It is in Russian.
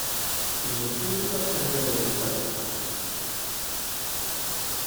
есть ли у тебя вторжение титанов